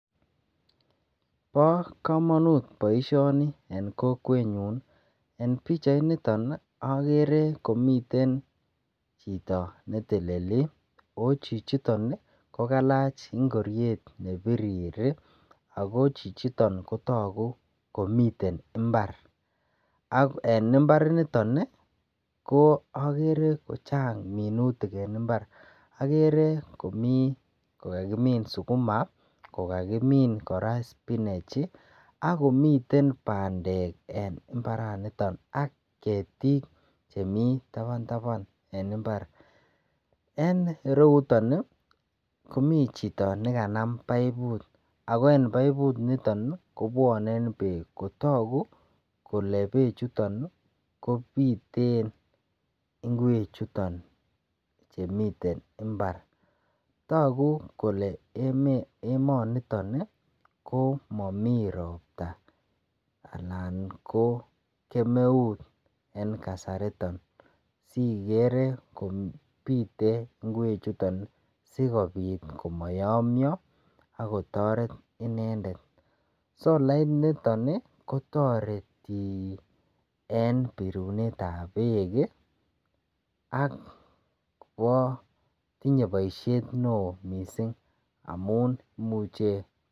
Bo kamanut boisioni en kokwenyun. En pichainiton agere komiten chito neteleli ochichiton ko kalach ngoriet nebirir ago chichiton ko tagu komiten imbar ak en imbar initon ko agere kochang minutik en imbar. Agere komi ko kakimin suguma, kakimin kora spinach ak komiten bandek en imbaranito ak ketik chemi taban taban en imbar. En ireyuton, komichito ne kanam paiput ago en paiput niton ko bwane beek kotagu kole bechuto kopiten ingwechuton che miten imbar. Tagu kole, emonito ko mami ropta anan ko kemeut en kasariton siigere kopite ingwechuton sigopit ko mayomio agotaret inendet. Solainiton kotoreti en pirunetab beek ago tinye boisiet neo mising amun imuche.